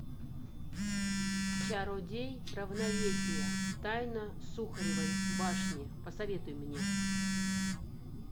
чародей равновесие тайна сухаревой башни посоветуй мне